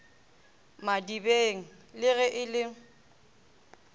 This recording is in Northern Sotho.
madibeng le ge e le